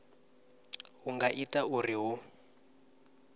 hu nga ita uri hu